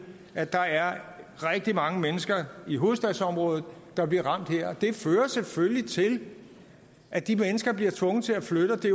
at der er rigtig mange mennesker i hovedstadsområdet der bliver ramt her det fører selvfølgelig til at de mennesker bliver tvunget til at flytte og det